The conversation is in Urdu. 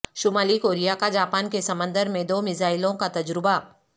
شمالی کوریا کا جاپان کے سمندر میں دو میزائلوں کا تجربہ